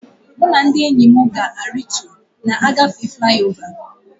Mụ na ndị enyi m ga e ritu na-agafe fliova